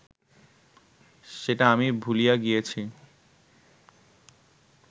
সেটা আমি ভুলিয়া গিয়াছি